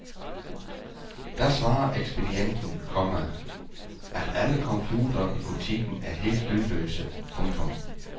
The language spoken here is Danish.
Da svarer ekspedienten, komma at alle computere i butikken er helt lydløse. punktum